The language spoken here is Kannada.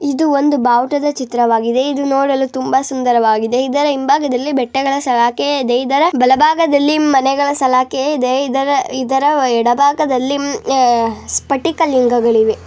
ಇದು ಒಂದು ಭಾವುಟದ ಚಿತ್ರವಾಗಿದೆ ಇದು ನೋಡಲು ತುಂಬಾ ಸುಂದರವಾಗಿದೆ ಇದರ ಹಿಂಭಾಗದಲ್ಲಿ ಬೆಟ್ಟಗಳ ಸಲಾಖೆಯೇ ಇದೆ ಇದರ ಬಲ ಭಾಗದಲ್ಲಿ ಮನೆಗಳ ಸಲಾಖೆಯೇ ಇದೆ ಇದರ ಇದರ ವ ಎಡ ಭಾಗದಲ್ಲಿ ಉಮ್ ಅ ಸ್ಫಟಿಕ ಲಿಂಗಗಳಿವೆ .